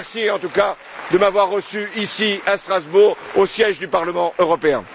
Merci, en tout cas, de m'avoir reçu ici, à Strasbourg, au siège du Parlement européen!